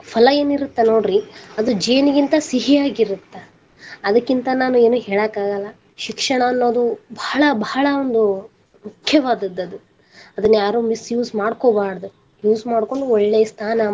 ಫಲ ಏನಿರತ್ತ ಅಲ್ಲಾ ನೋಡ್ರಿ ಅದು ಜೇನಿಗಿಂತ ಸಿಹಿ ಆಗಿರತ್ತ ಅದಕ್ಕಿಂತ ನಾನು ಏನು ಹೇಳಾಕ ಆಗಲ್ಲಾ ಶಿಕ್ಷಣ ಅನ್ನೋದು ಬಾಳ ಬಾಳ ಒಂದು ಮುಖ್ಯವಾದದ್ದು ಅದನ್ನ ಯಾರು misuse ಮಾಡ್ಕೊಬಾರದ use ಮಾಡ್ಕೊಂಡು ಒಳ್ಳೆ ಸ್ಥಾನ ಮಾನ.